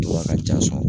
Wa ka ja sɔrɔ